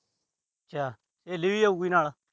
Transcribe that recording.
ਅੱਛਾ। ਸਹੇਲੀ ਵੀ ਜਾਉ ਨਾਲ।